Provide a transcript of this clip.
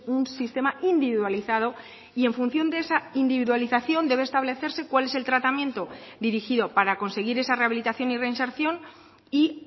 un sistema individualizado y en función de esa individualización debe establecerse cuál es el tratamiento dirigido para conseguir esa rehabilitación y reinserción y